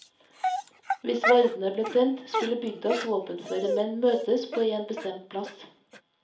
Hvis vardene ble tent, skulle bygdas våpenføre menn møtes på en bestemt plass.